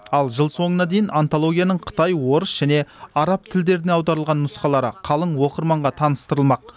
ал жыл соңына дейін антологияның қытай орыс және араб тілдеріне аударылған нұсқалары қалың оқырманға таныстырылмақ